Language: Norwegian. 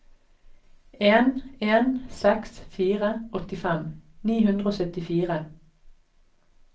en en seks fire åttifem ni hundre og syttifire